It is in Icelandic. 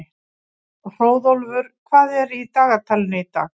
Hróðólfur, hvað er í dagatalinu í dag?